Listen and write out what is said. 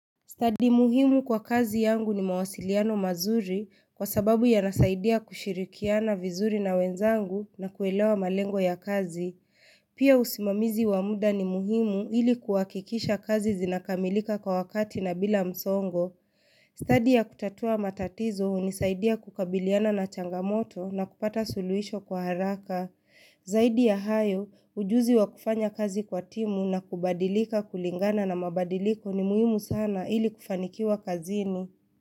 Study muhimu kwa kazi yangu ni mawasiliano mazuri kwa sababu ya nasaidia kushirikiana vizuri na wenzangu na kuelewa malengwa ya kazi. Pia usimamizi wamuda ni muhimu ili kuhakikisha kazi zinakamilika kwa wakati na bila msongo. Stadi ya kutatua matatizo huni saidia kukabiliana na changamoto na kupata suluhisho kwa haraka. Zaidi ya hayo, ujuzi wa kufanya kazi kwa timu na kubadilika kulingana na mabadiliko ni muhimu sana ili kufanikiwa kazini.